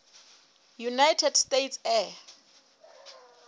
united states air